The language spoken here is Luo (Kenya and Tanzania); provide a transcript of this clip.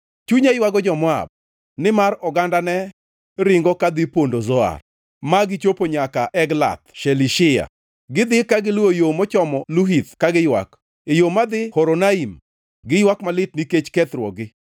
Chunya ywago jo-Moab; nimar ogandane ringo kadhi pondo Zoar, ma gichopo nyaka Eglath Shelishiya. Gidhi ka giluwo yo mochomo Luhith ka giywak, e yo madhi Horonaim giywak malit nikech kethruokgi.